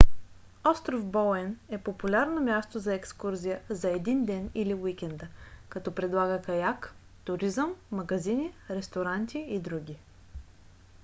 остров боуен е популярно място за екскурзия за един ден или уикенда като предлага каяк туризъм магазини ресторанти и други